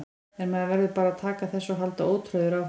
En maður verður bara að taka þessu og halda ótrauður áfram.